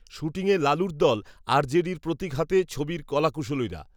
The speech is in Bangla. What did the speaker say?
শ্যুটিংয়ে লালুর দল, আর জে ডির প্রতিক হাতে, ছবির কলাকূশলীরা